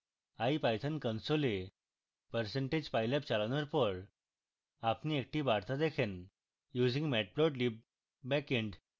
ipython console percentage pylab চালানোর পর আপনি একটি বার্তা দেখেনusing matplotlib backend